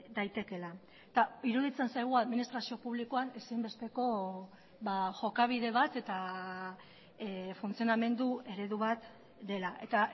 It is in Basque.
daitekeela eta iruditzen zaigu administrazio publikoan ezinbesteko jokabide bat eta funtzionamendu eredu bat dela eta